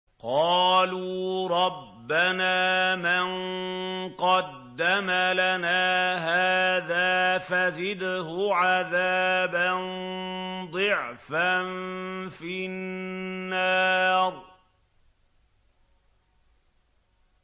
قَالُوا رَبَّنَا مَن قَدَّمَ لَنَا هَٰذَا فَزِدْهُ عَذَابًا ضِعْفًا فِي النَّارِ